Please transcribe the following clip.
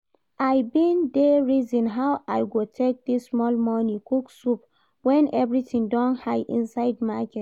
I bin dey reason how I go take this small money cook soup when everything don high inside market